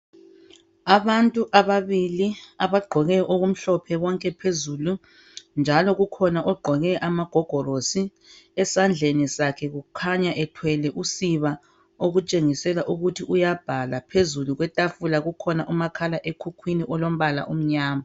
Abantu ababili abagqoke okumhlophe bonke phezulu njalo kukhona ogqoke amagogorosi, esandleni sakhe kukhanya ethwele usiba okutshengisela ukuthi uyabhala. Phezulu kwetafula kukhona umakhala ekhukhwini olombala omnyama.